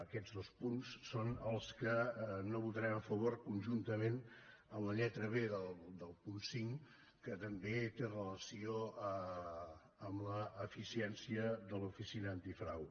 aquests dos punts són els que no votarem a favor conjuntament amb la lletra b del punt cinc que també té relació amb l’eficiència de l’oficina antifrau